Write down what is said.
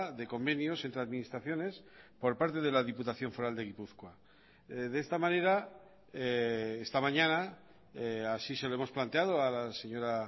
de convenios entre administraciones por parte de la diputación foral de gipuzkoa de esta manera esta mañana así se lo hemos planteado a la señora